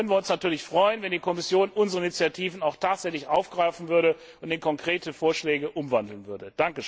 Jetzt würden wir uns natürlich freuen, wenn die Kommission unsere Initiativen auch tatsächlich aufgreifen und in konkrete Vorschläge umwandeln würde.